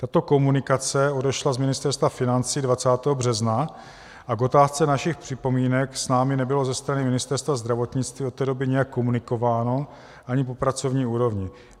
Tato komunikace odešla z Ministerstva financí 20. března a k otázce našich připomínek s námi nebylo ze strany Ministerstva zdravotnictví od té doby nijak komunikováno, ani po pracovní úrovni.